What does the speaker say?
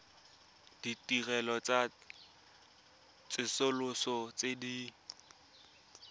ditirelo tsa tsosoloso tse di